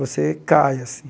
Você cai assim.